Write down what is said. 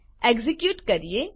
execute કરીએ